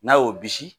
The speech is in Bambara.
N'a y'o bisi